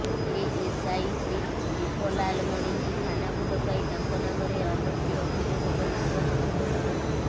ASI Sridip ଲାଲମଣିଙ୍କୁ ଥାନାକୁ ଡକାଇ ତାଙ୍କ ନାମରେ ଅଗସ୍ତି ଅଭିଯୋଗ କରିଥିବା କଥା କହିଥିଲେ